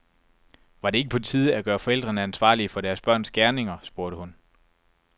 Var det ikke på tide at gøre forældrene ansvarlige for deres børns gerninger, spurgte hun.